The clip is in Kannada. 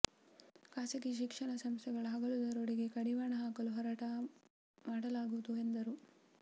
ಖಾಸಗಿ ಶಿಕ್ಷಣ ಸಂಸ್ಥೆಗಳ ಹಗಲು ದರೋಡೆಗೆ ಕಡಿವಾಣ ಹಾಕಲು ಹೋರಾಟ ಮಾಡಲಾಗುವುದು ಎಂದರು